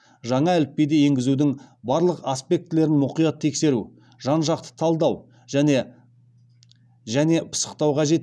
жаңа әліпбиді енгізудің барлық аспектілерін мұқият тексеру жан жақты талдау және пысықтау қажет